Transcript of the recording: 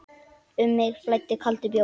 Um mig flæddi kaldur bjór.